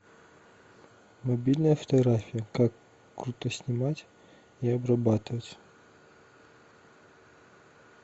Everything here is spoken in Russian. мобильная фотография как круто снимать и обрабатывать